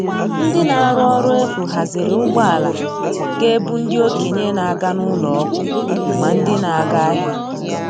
Ndị na-arụ ọrụ efu haziri ụgbọala ga - ebu ndị okenye na - aga n'ụlọ ọgwụ ma ndị na-aga ahịa.